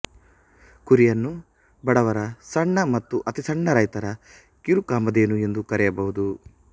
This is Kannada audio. ಕುರಿಯನ್ನು ಬಡವರ ಸಣ್ಣ ಮತ್ತು ಅತಿ ಸಣ್ಣ ರೈತರ ಕಿರುಕಾಮಧೇನು ಎಂದು ಕರೆಯಬಹುದು